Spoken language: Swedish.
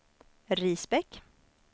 Risbäck